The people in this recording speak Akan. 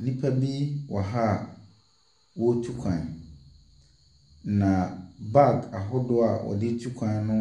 Nnipa bi wɔ ha a wɔretu kwan. Na bag ahodoɔ a wɔde tu kwan no